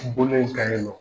Bolo in kan yen nɔ.